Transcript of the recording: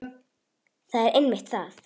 Það er einmitt það.